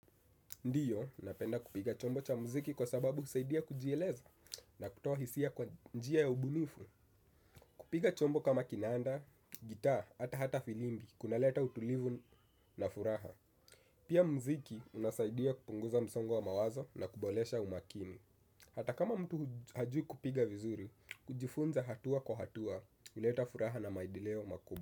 Ndiyo, napenda kupiga chombo cha muziki kwa sababu husaidia kujieleza na kutoa hisia kwa njia ya ubunifu. Kupiga chombo kama kinanda, gitaa, ata hata filimbi, kuna leta utulivu na furaha. Pia mziki unasaidia kupunguza msongo wa mawazo na kuboresha umakini. Hata kama mtu hajui kupiga vizuri, kujifunza hatua kwa hatua, huleta furaha na maendeleo makubwa.